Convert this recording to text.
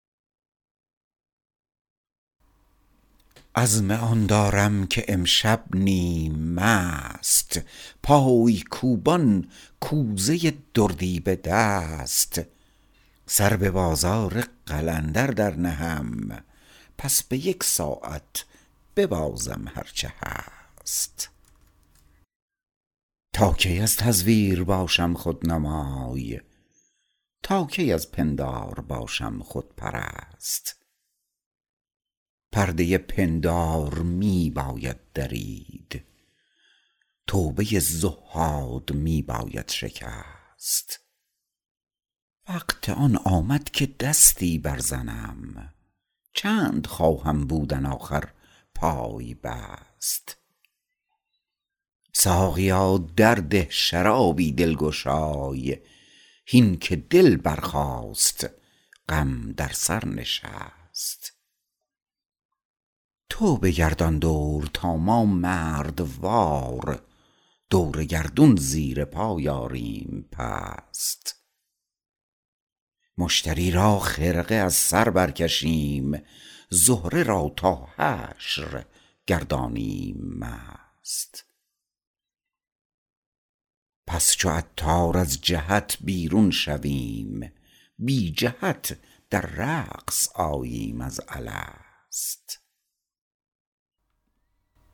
عزم آن دارم که امشب نیم مست پای کوبان کوزه دردی به دست سر به بازار قلندر برنهم پس به یک ساعت ببازم هرچه هست تا کی از تزویر باشم رهنمای تا کی از پندار باشم خودپرست پرده پندار می باید درید توبه تزویر می باید شکست وقت آن آمد که دستی برزنم چند خواهم بودن آخر پای بست ساقیا درده شرابی دلگشای هین که دل برخاست غم بر سر نشست تو بگردان دور تا ما مردوار دور گردون زیر پای آریم پست مشتری را خرقه از بر برکشیم زهره را تا حشر گردانیم مست همچو عطار از جهت بیرون شویم بی جهت در رقص آییم از الست